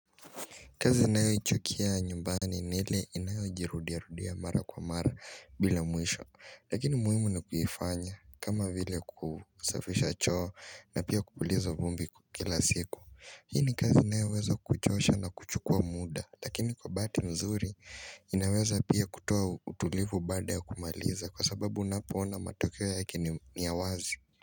Kazi ninayo ichukia ya nyumbani ni ile inayojirudia rudia mara kwa mara bila mwisho Lakini muhimu ni kuifanya kama vile kusafisha choo na pia kupuliza vumbi kila siku Hii ni kazi inayoweza kuchosha na kuchukua muda Lakini kwa bahati nzuri inaweza pia kutoa utulivu baada ya kumaliza Kwa sababu unapoona matokeo yake ni yawazi.